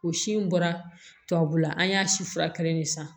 O si in bɔra tubabula an y'a si furakɛli de san